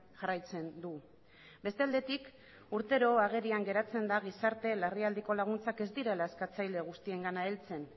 jarraitzen du beste aldetik urtero agerian geratzen da gizarte larrialdiko laguntzak ez direla eskatzaile guztiengana heltzen